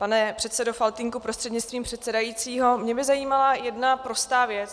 Pane předsedo Faltýnku prostřednictvím předsedajícího, mě by zajímala jedna prostá věc.